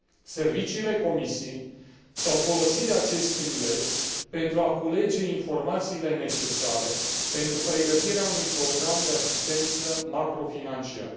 Serviciile Comisiei s au folosit de acest prilej pentru a culege informațiile necesare pentru pregătirea unui program de asistență macrofinanciară.